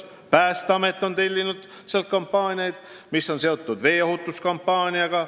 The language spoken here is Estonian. Päästeamet on sealt tellinud kampaaniaid, mis on seotud veeohutuse ja tuleohutusega.